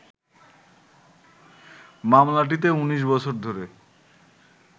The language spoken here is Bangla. মামলাটিতে ১৯ বছর ধরে